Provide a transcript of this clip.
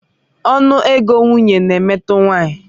Ọnụ ego nwunye na-emetụta nwanyị.